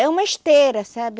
É uma esteira, sabe?